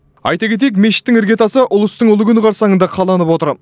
айта кетейік мешіттің іргетасы ұлыстың ұлы күні қарсаңында қаланып отыр